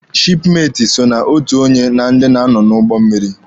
Shipmeti so na otu onye na ndị na-anọ n'ụgbọ mmịrị.